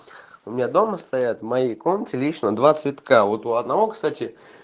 у меня дома стоят в моей комнате лишние два цветка вот у одного кстати